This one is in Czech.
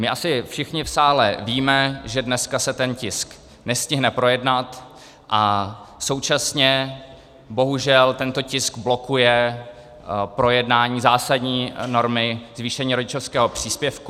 My asi všichni v sále víme, že dneska se ten tisk nestihne projednat, a současně bohužel tento tisk blokuje projednání zásadní normy - zvýšení rodičovského příspěvku.